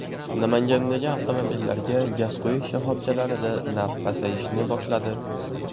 Namangandagi avtomobillarga gaz quyish shoxobchalarida narx pasayishni boshladi.